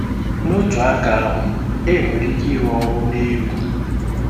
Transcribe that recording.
N'otu aka ahụ, enwere ike ịrụ ọrụ na egwu.